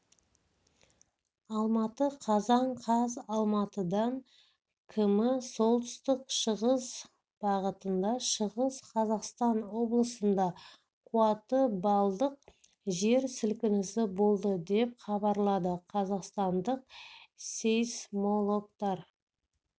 алматы қазан қаз алматыдан км солтүстік-шығыс бағытында шығыс қазақстан облысында қуаты баллдық жер сілкінісі болды деп хабарлады қазақстандық сейсмологтар